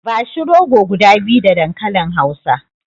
Bashi rogo guda biyu da dankalin hausa.